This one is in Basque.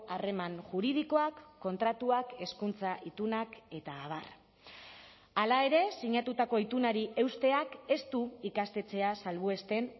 harreman juridikoak kontratuak hezkuntza itunak eta abar hala ere sinatutako itunari eusteak ez du ikastetxea salbuesten